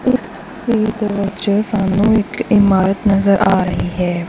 ਤਸਵੀਰ ਦੇ ਵਿੱਚ ਉਹ ਸਾਨੂੰ ਇੱਕ ਇਮਾਰਤ ਨਜ਼ਰ ਆ ਰਹੀ ਹੈ।